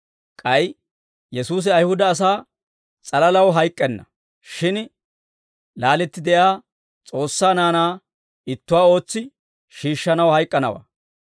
K'ay Yesuusi Ayihuda asaa s'alalaw hayk'k'enna; shin laaletti de'iyaa S'oossaa naanaa ittuwaa ootsi shiishshanaw hayk'k'anawaa.